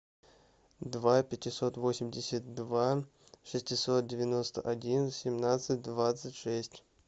два пятьсот восемьдесят два шестьсот девяносто один семнадцать двадцать шесть